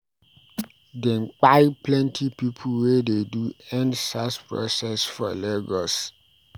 Dem kpai plenty pipu wey dey do End Sars protest for Lagos.